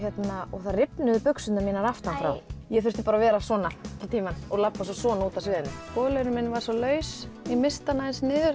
það rifnuðu buxurnar mínar aftan frá ég þurfti að vera svona allan tímann og labba svo svona út af sviðinu bolurinn minn var svo laus ég missti hann aðeins niður